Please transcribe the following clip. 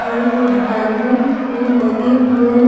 घर को ढालने में लगे हुए हैं।